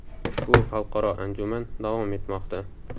Ushbu xalqaro anjuman davom etmoqda.